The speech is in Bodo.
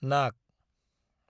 नाग